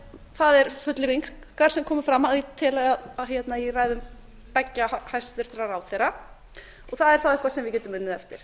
það er fullyrðing xxx sem kom fram að ég tel að í ræðum beggja hæstvirtur ráðherra og það er þá eitthvað sem við getum unnið eftir